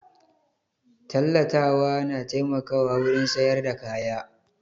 Tallatawa na taimakawa wurin sayar da kaya